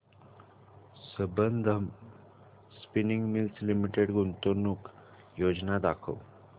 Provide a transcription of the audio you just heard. Sambandam Spinning Mills Limited गुंतवणूक योजना दाखव